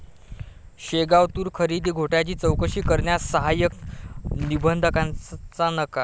शेगाव तूर खरेदी घोटाळ्याची चौकशी करण्यास सहाय्यक निबंधकाचा नकार